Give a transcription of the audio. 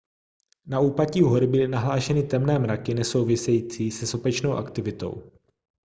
na úpatí hory byly nahlášeny temné mraky nesouvisející se sopečnou aktivitou